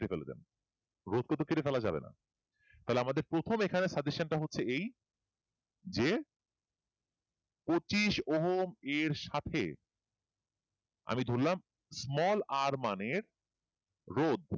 কেটে ফেলা যাবে না তাহলে আমাদের প্রথমে suggestion হচ্ছে এই যে পচিশ ওহম এর এর সাথে আমি ধরালাম small r মানে রোধ